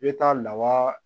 I bɛ taa lawa